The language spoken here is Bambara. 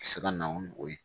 Se ka na ni o ye